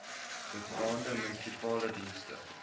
bestaande munisipale dienste